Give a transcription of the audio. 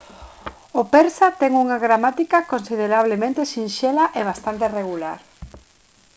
o persa ten unha gramática considerablemente sinxela e bastante regular